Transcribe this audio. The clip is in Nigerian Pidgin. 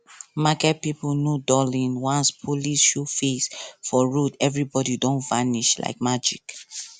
market people no dull once police show face for road everybody don vanish like magic